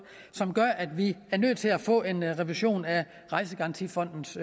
som gør at vi nødt til at få en revision af rejsegarantifondens